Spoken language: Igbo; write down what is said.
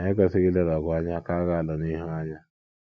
Anyị ekwesịghị ileda ọgụ anyị ka ga - alụ n’ihu anya.